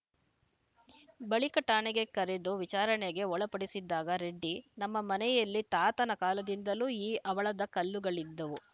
ಬಳಿಕ ಠಾಣೆಗೆ ಕರೆದು ವಿಚಾರಣೆಗೆ ಒಳಪಡಿಸಿದಾಗ ರೆಡ್ಡಿ ನಮ್ಮ ಮನೆಯಲ್ಲಿ ತಾತನ ಕಾಲದಿಂದಲೂ ಈ ಹವಳದ ಕಲ್ಲುಗಳಿದ್ದವು